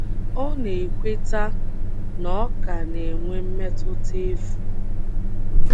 O na-ekweta na ọ ka na-enwe mmetụta efu.